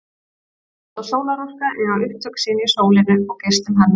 Vind- og sólarorka eiga upptök sín í sólinni og geislum hennar.